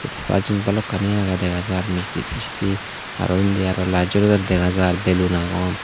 hebar jenis balukani aage degajar misti tisti aro endi aro light jolodon degajar bellon agon.